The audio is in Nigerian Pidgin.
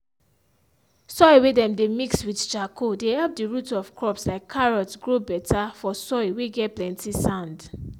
soil whey dem mey mixed with charcoal dey help the root of crops like carrots grow better for soil whey get plenty sand.